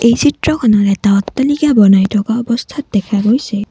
এই চিত্ৰখনত এটা অট্টালিকা বনাই থকা অৱস্থাত দেখা গৈছে।